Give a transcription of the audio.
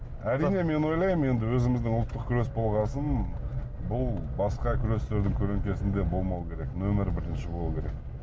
әрине мен ойлаймын енді өзіміздің ұлттық күрес болған соң бұл басқа күрестердің көлеңкесінде болмауы керек нөмірі бірінші болуы керек